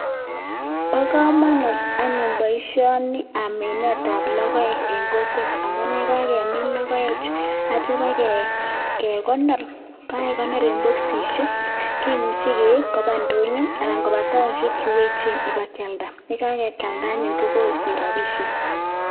Bo kamanut anyun boisioni bo minet ab logoek en kokwet amun yekakemin logoek chu aitya ba kekonor en bokisisiek kemuche keib koba ndonyo anan ko taonisiek chuechen ba kyalda akisich rapisiek.